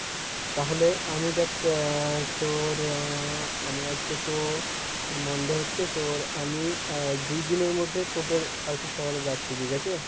তাহলে আমি দেখ আহ তোর আহ আমি আজকে তো তোর Monday হচ্ছে তোর আমি আহ দুইদিনের মধ্যে তোদের আরকি শহরে যাচ্ছি ঠিকাছে?